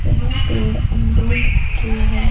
यह पेड़ अमरूद के है।